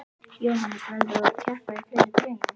Jóhannes: Verður þú að keppa í fleiri greinum?